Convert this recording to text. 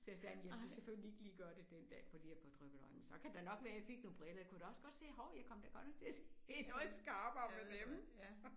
Så sagde han jeg skulle selvfølgelig ikke lige gøre det den dag fordi jeg havde fået dryppet øjne. Så kan det da nok være fik nogle briller. Jeg kunne da også godt se hov jeg kom da godt nok til at se noget skarpere med dem